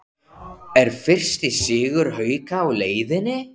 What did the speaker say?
ER FYRSTI SIGUR HAUKA Á LEIÐINNI???